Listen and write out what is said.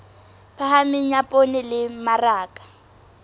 phahameng ya poone le mmaraka